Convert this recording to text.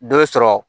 Dɔ bɛ sɔrɔ